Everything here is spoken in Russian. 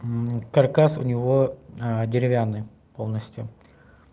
каркас у него деревянный полностью